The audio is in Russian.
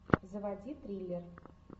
заводи триллер